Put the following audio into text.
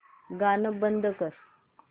गाणं बंद कर